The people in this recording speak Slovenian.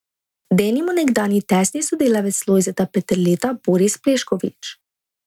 Denimo nekdanji tesni sodelavec Lojzeta Peterleta Boris Pleskovič.